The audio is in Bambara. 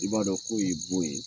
I b'a dɔn ko ye bon ye